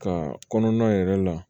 Ka kɔnɔna yɛrɛ la